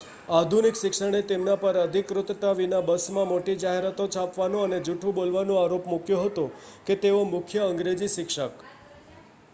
આધુનિક શિક્ષણે તેમના પર અધિકૃતતા વિના બસમાં મોટી જાહેરાતો છાપવાનો અને જૂઠું બોલવાનો આરોપ મૂક્યો હતો કે તેઓ મુખ્ય અંગ્રેજી શિક્ષક